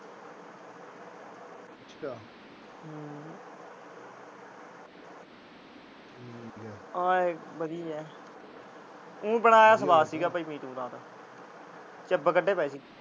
ਆਏ ਵਧੀਆ। ਊ ਬਣਾਇਆ ਸਵਾਦ ਤੀ ਭਾਈ ਮੀਟ ਉਨ੍ਹਾਂ ਦਾ। ਚਿੱਬ ਕੱਢੇ ਪਏ ਤੀ।